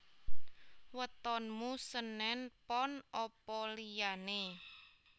Wetonmu senen pon opo liyane